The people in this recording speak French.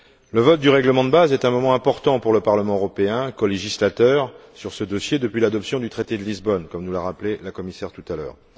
Le vote du règlement de base est un moment important pour le Parlement européen, colégislateur sur ce dossier depuis l'adoption du Traité de Lisbonne, comme nous l'a rappelé la Commissaire tout à l'heure.